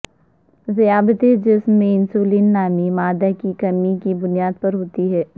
ذیابیطس جسم میں انسولین نامی مادہ کی کمی کی بنا پر ہوتی ہے